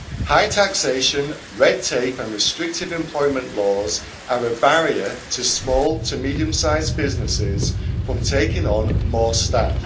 High taxation, red tape and restrictive employment laws are a barrier to small and medium-sized businesses taking on more staff.